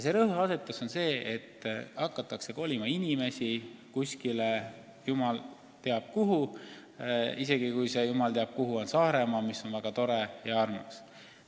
Rõhuasetus on olnud, et inimesi hakatakse kolima kuskile jumal teab kuhu, isegi kui see koht on Saaremaa, mis on väga tore ja armas.